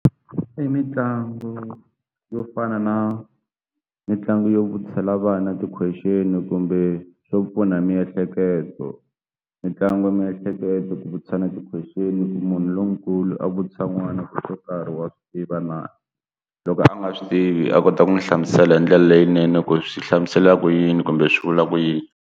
I mitlangu yo fana na mitlangu yo vutisela vana ti-question kumbe swo pfuna hi miehleketo mitlangu miehleketo ku vutisa ti-question munhu lonkulu a vutisa n'wana ku xo karhi wa swi tiva na loko a nga swi tivi a kota ku n'wi hlamusela hi ndlela leyinene ku swi hlamusela ku yini kumbe swi vula ku yini.